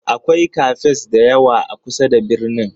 Akwai Cafes da yawa a kusa da birnin.